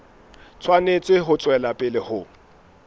tshwanetse ho tswela pele ho